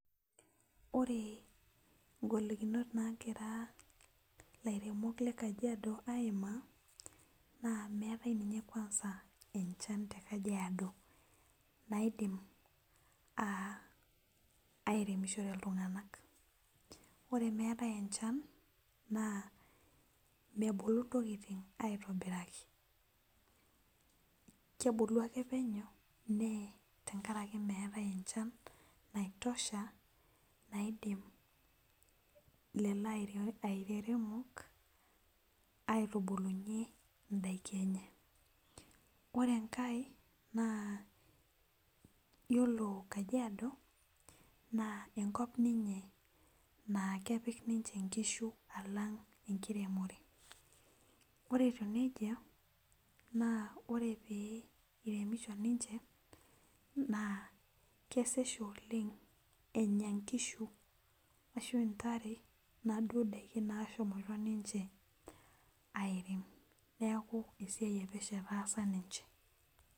Ore ngolikinot nagira laremok lagira laremok lekajiadi aimaa na meetai nye kwanza enchan tekajiado naidim airemishore ltunganak ore meetae enchan mebulu ntokitin aitobiraki tenkaraki meetae enchan naitosha naidin lolo aremok aitubulunye ndakini enye yiolo enkae na iyolo kajiado na enkop ninye na kepik nimche nkishubalang eremore ore etiu nejia ore iremisho kesej oleng enya nkishu naduo dakin nashomoita ninche arem neaku esiai epesho etaasa ninche.